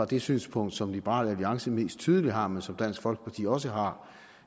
det synspunkt som liberal alliance mest tydeligt har men som dansk folkeparti også har